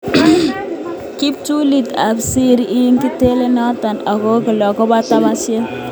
Kiptulit ab Serie ibe kotelelen tononet ne kolkol akobo katabanisiet.